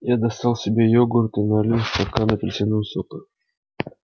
я достал себе йогурт и налил стакан апельсинового сока